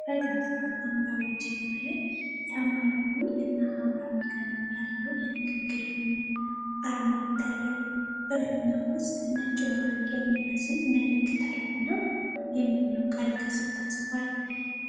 ፈዛዛ ሐምራዊ ጀርባ ላይ ሰማያዊ እና ሐምራዊ ቀለም ያለው የንግግር ፊኛ አርማ ይታያል። በፊኛው ውስጥ ነጭ መብረቅ የሚመስል ምልክት አለና "Messenger" የሚለው ቃል ከስር ተጽፏል።